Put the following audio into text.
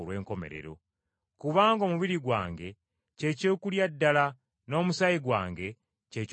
Kubanga omubiri gwange kye kyokulya ddala n’omusaayi gwange kye kyokunywa ddala.